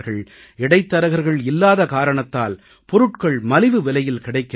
இடைத்தரகர்கள் இல்லாத காரணத்தால் பொருட்கள் மலிவு விலையில் கிடைக்கின்றன